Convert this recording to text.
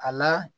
A la